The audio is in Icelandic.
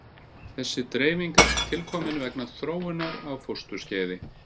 Þessi dreifing er tilkomin vegna þróunar á fósturskeiði.